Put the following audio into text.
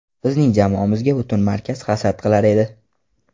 Bizning jamoamizga butun markaz hasad qilar edi.